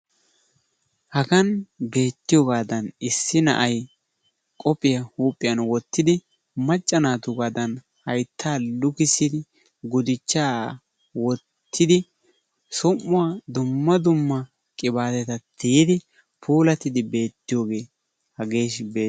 Hagan beettiyogaadan issi na'ay qophiya huuphiyan wottidi, macca naatuugaadan hayttaa lukissidi guduchchaa wottidi som"uwa dumma dumma qibaatetaa tiyettidi beettiyogee hagee beetteea.